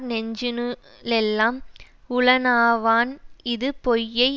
நெஞ்சினுளெல்லாம் உளனாவான் இது பொய்யை